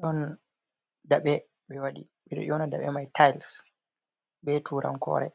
ɗon daɓe ɓe waɗi, ɓeɗo nyona daɓe mai tayils ɓe turan kore.